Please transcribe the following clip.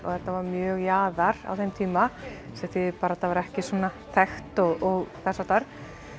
þetta var mjög jaðar á þeim tíma sem þýðir bara að þetta var ekki svona þekkt og þess háttar